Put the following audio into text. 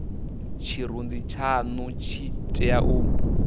tshirunzi tshanu tshi tea u